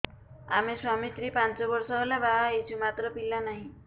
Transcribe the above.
ଆମେ ସ୍ୱାମୀ ସ୍ତ୍ରୀ ପାଞ୍ଚ ବର୍ଷ ହେଲା ବାହା ହେଇଛୁ ମାତ୍ର ପିଲା ନାହିଁ